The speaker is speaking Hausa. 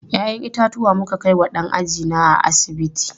Ya'yan itatuwa muka kai wa ɗan ajina a asibiti.